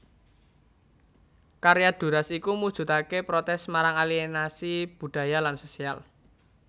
Karya Duras iku mujudaké protès marang aliénasi budaya lan sosial